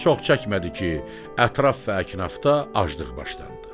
Çox çəkmədi ki, ətraf və əknafda aclıq başlandı.